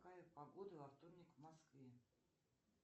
какая погода во вторник в москве